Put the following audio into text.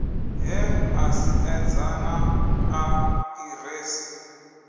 he a siedza naa aḓiresi